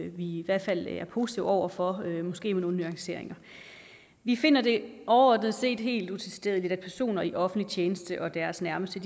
i hvert fald er positive over for måske med nogle nuanceringer vi finder det overordnet set helt utilstedeligt at personer i offentlig tjeneste og deres nærmeste